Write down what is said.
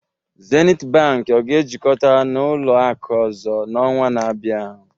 Zenith Bank ọ ga-ejikọta na ụlọ akụ ọzọ n'ọnwa na-abịa?